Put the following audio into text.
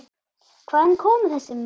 Hvaðan komu þessi menn?